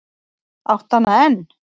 Áttu hana enn?